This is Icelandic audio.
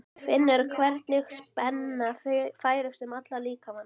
Finnur hvernig spenna færist um allan líkamann.